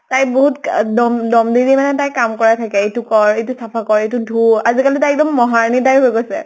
তাইক বহুত দম দম দি দি মানে কাম কৰাই থাকে । এইতো কৰ, এইতো চাফা কৰ, এইতো ধু । আজিকালি তাই একদম মহাৰাণী type হৈ গৈছে ।